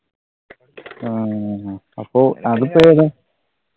ആഹ് അപ്പൊ അതൊക്കെയെതാണ്?